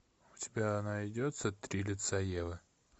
у тебя найдется три лица евы